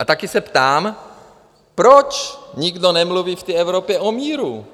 A také se ptám, proč nikdo nemluví v Evropě o míru?